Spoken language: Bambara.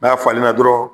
N'a falenna dɔrɔn